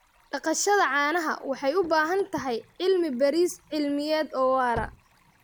Dhaqashada caanaha waxay u baahan tahay cilmi-baaris cilmiyeed oo waara.